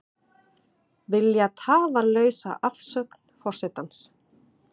Vilja tafarlausa afsögn forsetans